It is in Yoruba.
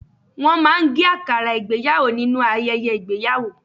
Wọ́n máa ń gé àkàrà ìgbéyàwò nínú ayẹyẹ ìgbéyàwó